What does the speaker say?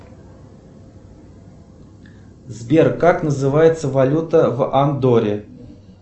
сбер как называется валюта в андорре